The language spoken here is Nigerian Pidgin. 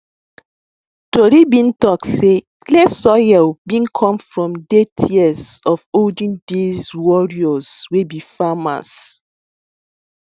tori been talk sey clay soil been come from day tears of olden days warrriors wey be farmers